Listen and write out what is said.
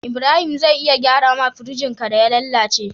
Ibrahim zai iya gyara ma firjin ka da ya lalace